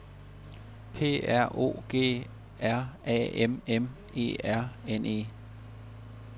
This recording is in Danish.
P R O G R A M M E R N E